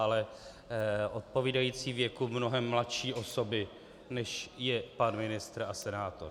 Ale odpovídající věku mnohem mladší osoby, než je pan ministr a senátor.